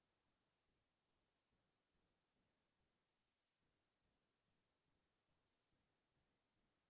নেপেলাও তেতিয়া হ্'লে কেতিয়াও আমাৰ পৰিৱেশ চাফা নহয় সেইখিনি আমি নিজেই নিজৰ দায়িত্ব ল্'ব লাগিব